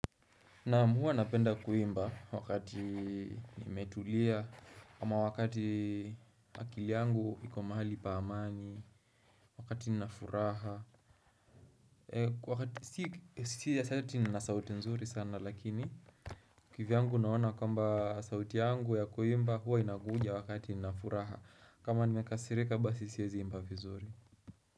Naam huwa napenda kuimba wakati nimetulia ama wakati akili yangu iko mahali pa amani wakati nina furaha Si ati eti nina sauti nzuri sana lakini kivyangu naona kwamba sauti yangu ya kuimba huwa inakuja wakati nina furaha, kama nimekasirika basi siezi imba vizuri.